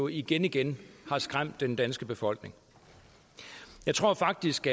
igen igen skræmt den danske befolkning jeg tror faktisk